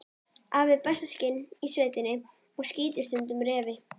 Afi er besta skyttan í sveitinni og skýtur stundum refi.